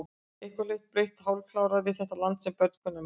Eitthvað blautt og hálfkarað við þetta land sem börn kunnu að meta.